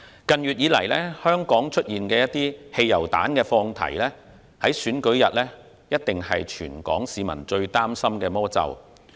近月以來，香港出現汽油彈放題，這在選舉日必定是全港市民最擔心的魔咒。